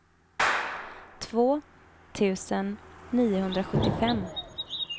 två tusen niohundrasjuttiofem